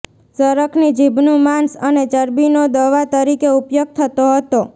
ઝરખની જીભનું માંસ અને ચરબીનો દવા તરીકે ઉપયોગ થતો હતો